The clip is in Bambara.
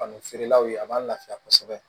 Fani feerelaw ye a b'an lafiya kosɛbɛ